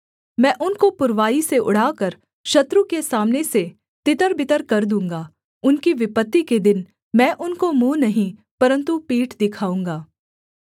मैं उनको पुरवाई से उड़ाकर शत्रु के सामने से तितरबितर कर दूँगा उनकी विपत्ति के दिन मैं उनको मुँह नहीं परन्तु पीठ दिखाऊँगा